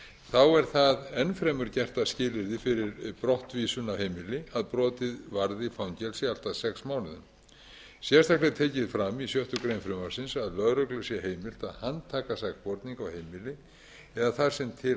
þá er það enn fremur gert að skilyrði fyrir brottvísun af heimili að brotið varði fangelsi allt að sex mánuðum sérstaklega er tekið fram í sjöttu greinar frumvarpsins að lögreglu sé heimilt að handtaka sakborning á heimili eða þar sem til hans næst í þágu